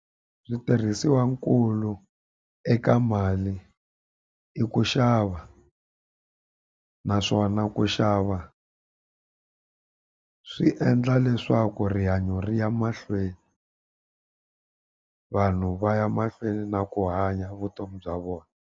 Switirhisiwankulu eka mali i ku xava. Naswona ku xava swi endla leswaku rihanyo ri ya mahlweni vanhu va ya mahlweni na ku hanya vutomi bya vona.